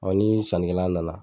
ni sannikɛla nana